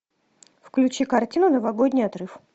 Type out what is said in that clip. включи картину новогодний отрыв